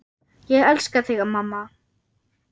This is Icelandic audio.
Ég elska þig mamma.